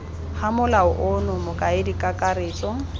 ga molao ono mokaedi kakaretso